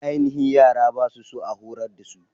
Aininhi yara ba su so a horar dasu.